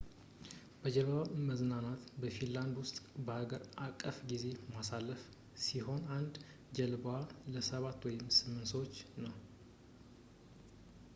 በጀልባ መዝናናት በፊንላንድ ውስጥ አገር አቀፍ የጊዜ ማሳለፊያ ሲሆን አንድ ጀልባዋ ለሰባት ወይም ስምንት ሰዎች ነው